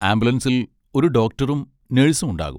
ആംബുലൻസിൽ ഒരു ഡോക്ടറും നഴ്സും ഉണ്ടാകും.